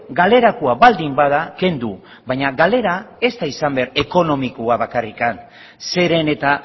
galerakoa baldin bada kendu baina galera ez da izan behar ekonomikoa bakarrik zeren eta